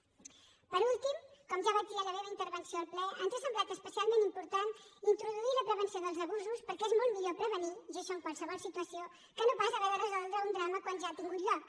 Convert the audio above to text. per últim com ja vaig dir en la meva intervenció al ple ens ha semblat especialment important introduir la prevenció dels abusos perquè és molt millor prevenir i això en qualsevol situació que no pas haver de resoldre un drama quan ja ha tingut lloc